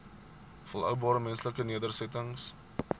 volhoubare menslike nedersettings